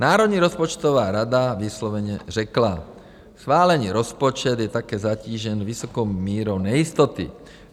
Národní rozpočtová rada vysloveně řekla: Schválený rozpočet je také zatížen vysokou mírou nejistoty.